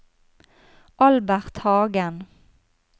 Albert Hagen